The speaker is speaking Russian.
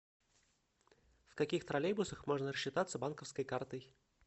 в каких троллейбусах можно рассчитаться банковской картой